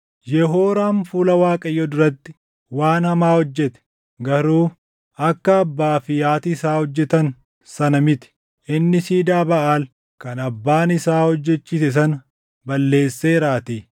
Yehooraam fuula Waaqayyoo duratti waan hamaa hojjete; garuu akka abbaa fi haati isaa hojjetan sana miti. Inni siidaa Baʼaal kan abbaan isaa hojjechiise sana balleesseeraatii.